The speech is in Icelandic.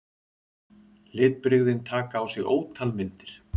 Litbrigðin taka á sig ótal myndir.